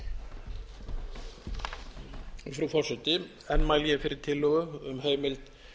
frú forseti enn mæli ég fyrir tillögu um heimild